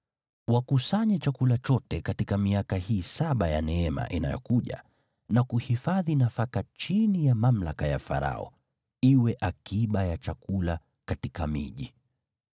Wakusanye chakula chote katika miaka hii saba ya neema inayokuja na kuhifadhi nafaka chini ya mamlaka ya Farao, iwe akiba ya chakula katika miji.